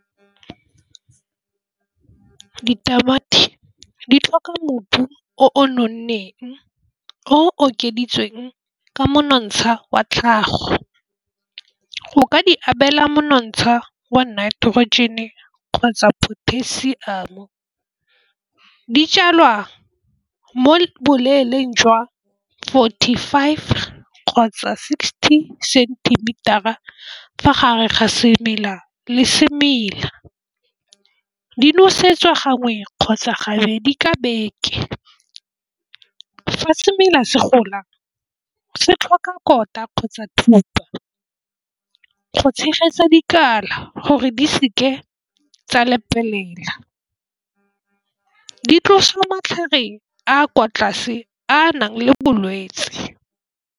Ditamati di tlhoka mobu o nonneng o okeditsweng ka monontsha wa tlhago. O ka di abela monontsha wa nitrogen-e kgotsa potassium. Dijalwa mo boleele jwa forty five kgotsa sixty centimetre-a fa gare ga semela le semela. Di nosetsa gangwe kgotsa gabedi ka beke. Fa semela se gola se tlhoka kolota kgotsa thuto go tshegetsa dikala gore di seke tsa lebelela di tlosa matlhare a kwa tlase a nang le bolwetsi.